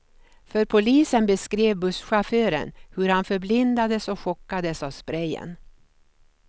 För polisen beskrev busschauffören hur han förblindades och chockades av sprejen.